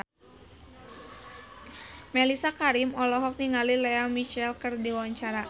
Mellisa Karim olohok ningali Lea Michele keur diwawancara